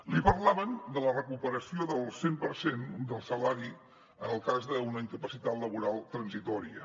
li parlaven de la recuperació del cent per cent del salari en el cas d’una incapacitat laboral transitòria